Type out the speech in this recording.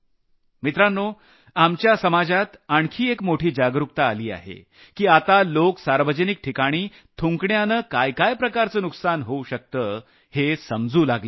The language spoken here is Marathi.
मित्रांनो आपल्या समाजात आणखी एक मोठी जागरूकता आली आहे की आता लोक सार्वजनिक ठिकाणी थुंकण्यानं कशा प्रकारचे काय नुकसान होऊ शकतं हे समजू लागले आहेत